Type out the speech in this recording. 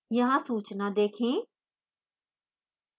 यहाँ सूचना देखें